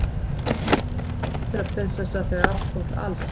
Var Kata ekki bara ævintýra- prinsessa þegar allt kom til alls?